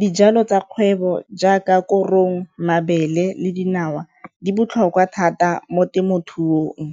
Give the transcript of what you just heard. dijalo tsa kgwebo jaaka korong, mabele le dinawa di botlhokwa thata mo temothuong.